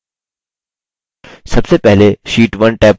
सबसे पहले sheet 1 tab पर click करें